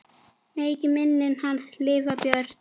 Megi minning hans lifa björt.